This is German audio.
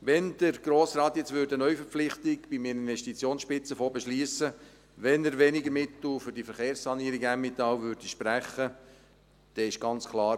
Wenn der Grosse Rat jetzt eine Neuverpflichtung beim Investitionsspitzenfonds beschliessen würde, wenn er weniger Mittel für die Verkehrssanierung Emmental sprechen würde, dann ist ganz klar: